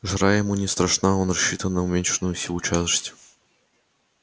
жара ему не страшна он рассчитан на уменьшенную силу тяжести